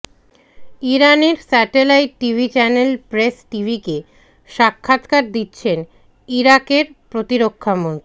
ইরানের satellite TV channel Press টিভিকে সাক্ষাৎকার দিচ্ছেন ইরাকের প্রতিরক্ষামন্ত্রী